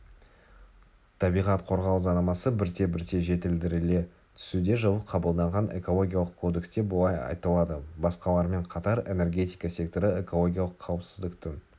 табиғат қорғау заңнамасы бірте-бірте жетілдіріле түсуде жылы қабылданған экологиялық кодексте былай айтылады басқалармен қатар энергетика секторы экологиялық қауіпсіздіктің